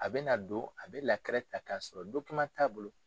A bɛ na don a bɛ ta k'a sɔrɔ t'a bolo.